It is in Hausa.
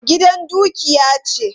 Gida dukiya ce.